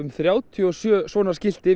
þrjátíu og sjö svona skilti